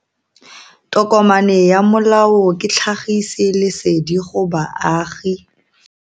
Tokomane ya molao ke tlhagisi lesedi go baagi.